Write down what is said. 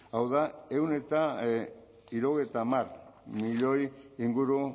hau da ehun eta hirurogeita hamar milioi inguru